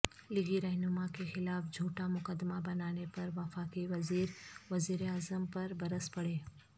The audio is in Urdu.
لیگی رہنما کیخلاف جھوٹا مقدمہ بنانے پر وفاقی وزیر وزیراعظم پربرس پڑے